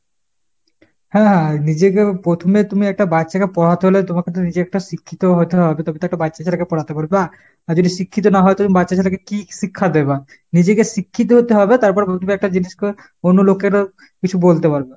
হ্যাঁ হ্যাঁ হ্যাঁ। নিজেকে প্রথমে তুমি একটা বাচ্ছাকে পড়াতে হলে তোমাকে তো নিজে একটা শিক্ষিতও হতে হবে তবে তো একটা বাচ্ছা ছেলেকে পড়াতে পারবা। আর যদি শিক্ষিত না হও তাহলে বাচ্ছা ছেলেকে কী শিক্ষা দেবা ? নিজেকে শিক্ষিত হতে হবে তারপরে একটা জিনিসকে অন্য লোকেরও কিছু বলতে পারবা।